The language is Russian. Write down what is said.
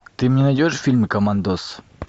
ты мне найдешь фильм командос